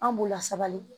An b'u lasabali